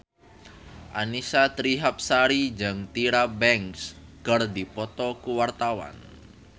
Annisa Trihapsari jeung Tyra Banks keur dipoto ku wartawan